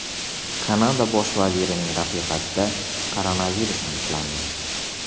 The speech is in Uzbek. Kanada bosh vazirining rafiqasida koronavirus aniqlandi.